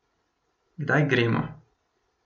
Kdaj gremo?